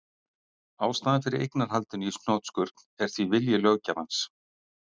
Ástæðan fyrir eignarhaldinu í hnotskurn er því vilji löggjafans.